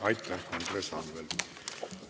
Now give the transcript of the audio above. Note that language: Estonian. Aitäh, Andres Anvelt!